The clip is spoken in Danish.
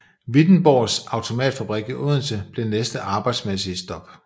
Wittenborgs Automatfabrik i Odense blev næste arbejdsmæssige stop